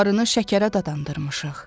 Arını şəkərə dadandırmışıq.